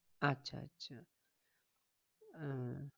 আচ্ছা আচ্ছা আহ